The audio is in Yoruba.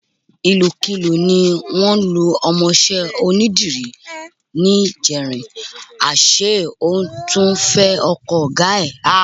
Ìlùkulù ni wọ́n lu ọmọọṣẹ́ onídìrí níjẹrin, àṣé ó tún fẹ ọkọ ọ̀gá ẹ̀.